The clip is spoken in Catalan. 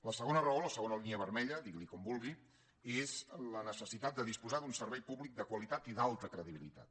la segona raó o la segona línia vermella digui’n com vulgui és la necessitat de disposar d’un servei públic de qualitat i d’alta credibilitat